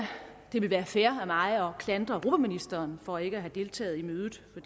det ville være fair af mig at klandre europaministeren for ikke at have deltaget i mødet for